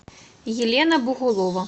елена бугулова